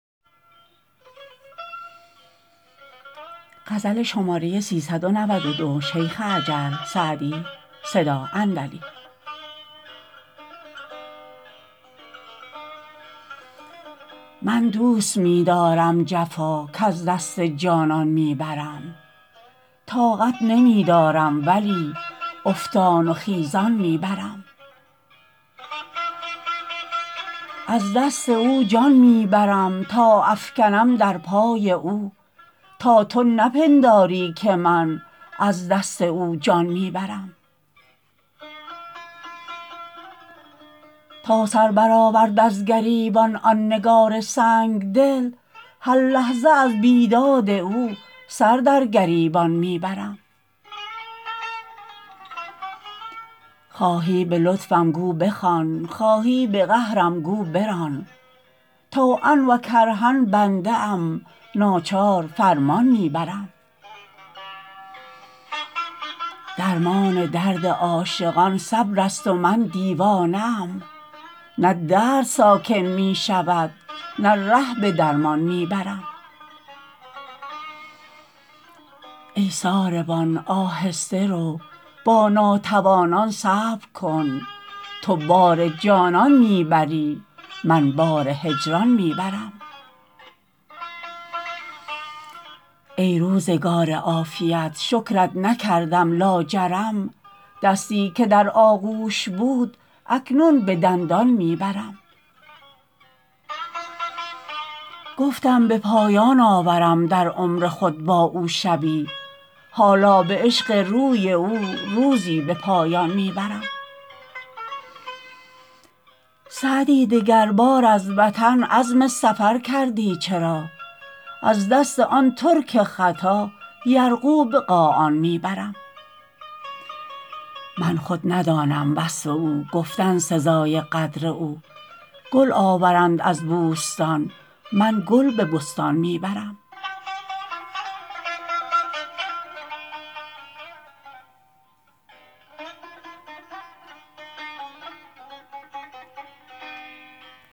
من دوست می دارم جفا کز دست جانان می برم طاقت نمی دارم ولی افتان و خیزان می برم از دست او جان می برم تا افکنم در پای او تا تو نپنداری که من از دست او جان می برم تا سر برآورد از گریبان آن نگار سنگ دل هر لحظه از بیداد او سر در گریبان می برم خواهی به لطفم گو بخوان خواهی به قهرم گو بران طوعا و کرها بنده ام ناچار فرمان می برم درمان درد عاشقان صبر است و من دیوانه ام نه درد ساکن می شود نه ره به درمان می برم ای ساربان آهسته رو با ناتوانان صبر کن تو بار جانان می بری من بار هجران می برم ای روزگار عافیت شکرت نکردم لاجرم دستی که در آغوش بود اکنون به دندان می برم گفتم به پایان آورم در عمر خود با او شبی حالا به عشق روی او روزی به پایان می برم سعدی دگربار از وطن عزم سفر کردی چرا از دست آن ترک خطا یرغو به قاآن می برم من خود ندانم وصف او گفتن سزای قدر او گل آورند از بوستان من گل به بستان می برم